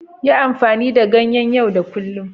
Yi amfani da ganyen yau da kullun.